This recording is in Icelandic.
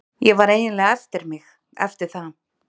Ég var eiginlega eftir mig, eftir það.